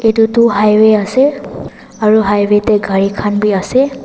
etu toh highway ase aro highway de gari khan b ase.